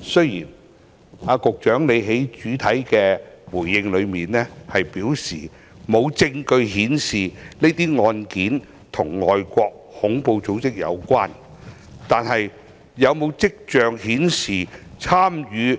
雖然局長在主體答覆內表示沒有證據顯示這些案件與外國恐怖組織有關，但有否跡象顯示，參與